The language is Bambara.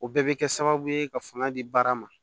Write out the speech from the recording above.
O bɛɛ bɛ kɛ sababu ye ka fanga di baara ma